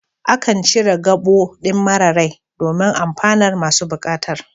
Akan cire gabo ɗin mara rai don amfanar masu buƙatar